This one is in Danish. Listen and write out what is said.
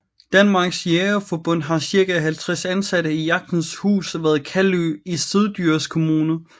Danmarks Jægerforbund har cirka 50 ansatte i Jagtens Hus ved Kalø i Syddjurs kommune